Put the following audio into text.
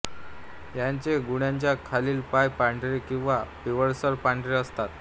याचे गुडघ्या खालील पाय पांढरे किंवा पिवळसर पांढरे असतात